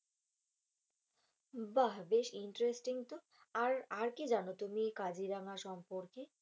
বাহ বেশ interesting তো, আর আর কি জানো তুমি এই কাজিরাঙা সম্পর্কে?